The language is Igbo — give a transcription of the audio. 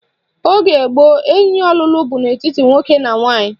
Oge gboo, enyi ọlụlụ bụ n'etiti nwoke na nwaanyị